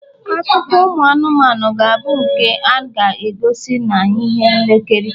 akụkọ ụmụ anụmanụ ga-abụ nke a ga-egosi na ihe nlekiri